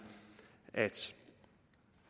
at